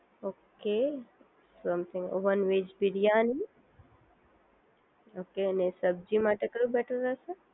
okay સમજી one veg biryani okay અને સબ્જી માટે કયું બેટર રહેશે